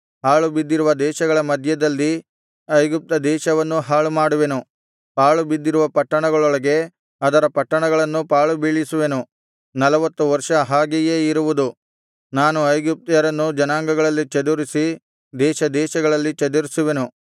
ಹಾಳು ಬಿದ್ದಿರುವ ದೇಶಗಳ ಮಧ್ಯದಲ್ಲಿ ಐಗುಪ್ತ ದೇಶವನ್ನೂ ಹಾಳುಮಾಡುವೆನು ಪಾಳುಬಿದ್ದಿರುವ ಪಟ್ಟಣಗಳೊಳಗೆ ಅದರ ಪಟ್ಟಣಗಳನ್ನೂ ಪಾಳುಬೀಳಿಸುವೆನು ನಲ್ವತ್ತು ವರ್ಷ ಹಾಗೆಯೇ ಇರುವುದು ನಾನು ಐಗುಪ್ತ್ಯರನ್ನು ಜನಾಂಗಗಳಲ್ಲಿ ಚದುರಿಸಿ ದೇಶದೇಶಗಳಲ್ಲಿ ಚದುರಿಸುವೆನು